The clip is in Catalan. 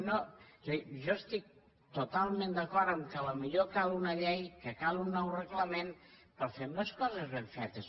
és a dir jo estic totalment d’acord que potser cal una llei que cal un nou reglament però fem les coses ben fetes